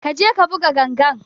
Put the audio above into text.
Ƙa je ka buga ganga!